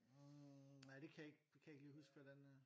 Hm nej det kan jeg ikke det kan jeg ikke lige huske hvad det er